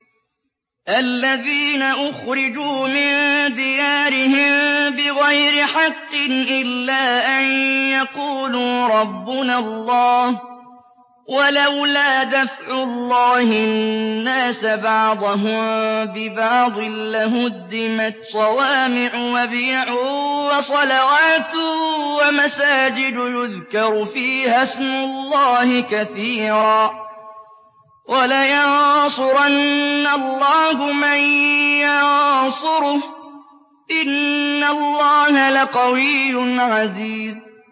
الَّذِينَ أُخْرِجُوا مِن دِيَارِهِم بِغَيْرِ حَقٍّ إِلَّا أَن يَقُولُوا رَبُّنَا اللَّهُ ۗ وَلَوْلَا دَفْعُ اللَّهِ النَّاسَ بَعْضَهُم بِبَعْضٍ لَّهُدِّمَتْ صَوَامِعُ وَبِيَعٌ وَصَلَوَاتٌ وَمَسَاجِدُ يُذْكَرُ فِيهَا اسْمُ اللَّهِ كَثِيرًا ۗ وَلَيَنصُرَنَّ اللَّهُ مَن يَنصُرُهُ ۗ إِنَّ اللَّهَ لَقَوِيٌّ عَزِيزٌ